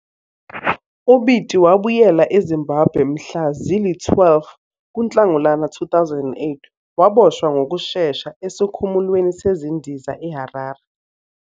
UBiti wabuyela eZimbabwe mhla zili-12 kuNhlangulana 2008 waboshwa ngokushesha esikhumulweni sezindiza eHarare.